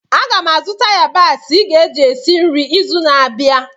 Aga m azụta yabasị ị ga-eji esi nri izu na-abịa